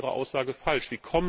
Demnach ist Ihre Aussage falsch!